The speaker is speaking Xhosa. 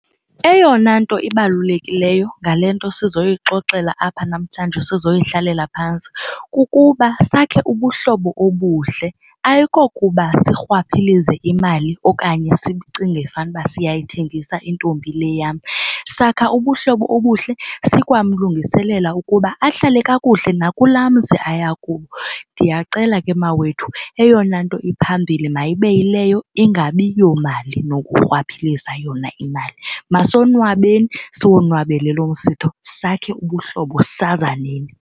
Eyona nto ibalulekileyo ngale nto sizoyixoxela apha namhlanje sizoyihlalela phantsi kukuba sakhe ubuhlobo obuhle ayikokuba sirhwaphilize imali okanye sicinge fanuba siyayithengisa intombi le yam. Sakha ubuhlobo obuhle sikwamlungiselela ukuba ahlale kakuhle nakulaa mzi aya kuwo. Ndiyacela ke mawethu eyona nto iphambili mayibe yileyo ingabi yomali nokurhwaphiliza yona imali. Masonwabeni siwonwabele lo msitho sakhe ubuhlobo sazaneni.